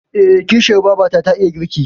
Eh, kishiyar babata ta iya girki.